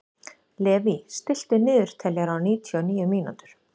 Levý, stilltu niðurteljara á níutíu og níu mínútur.